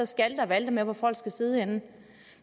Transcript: skalte og valte med hvor folk skal sidde henne